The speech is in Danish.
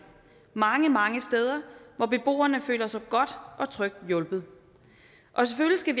mange mange steder hvor beboerne føler sig godt og trygt hjulpet og selvfølgelig skal